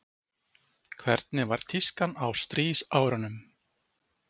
Hvernig var tískan á stríðsárunum?